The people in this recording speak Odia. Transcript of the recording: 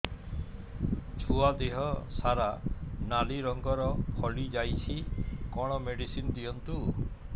ଛୁଆ ଦେହ ସାରା ନାଲି ରଙ୍ଗର ଫଳି ଯାଇଛି କଣ ମେଡିସିନ ଦିଅନ୍ତୁ